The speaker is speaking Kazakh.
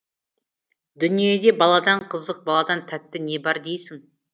дүниеде баладан қызық баладан тәтті не бар дейсің